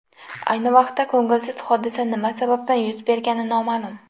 Ayni vaqtda ko‘ngilsiz hodisa nima sababdan yuz bergani noma’lum.